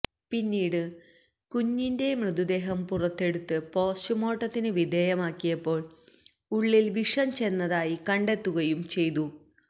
പിന്നീട് കുഞ്ഞിന്റെ മൃതദേഹം പുറത്തെടുത്ത് പോസ്റ്റുമാർട്ടത്തിന് വിധേയമാക്കിയപ്പോൾ ഉള്ളിൽ വിഷം ചെന്നതായി കണ്ടെത്തുകയും ചെയ്തു